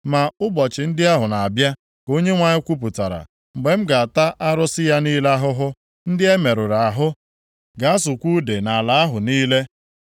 “Ma ụbọchị ndị ahụ na-abịa,” ka Onyenwe anyị kwupụtara, “mgbe m ga-ata arụsị ya niile ahụhụ. Ndị e merụrụ ahụ ga-asụkwa ude nʼala ahụ niile.